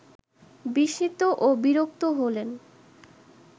বিস্মিত ও বিরক্ত হলেন